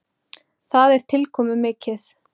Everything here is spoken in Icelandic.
Það er tilkomumikið.